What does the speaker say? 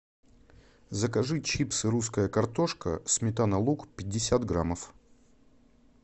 закажи чипсы русская картошка сметана лук пятьдесят граммов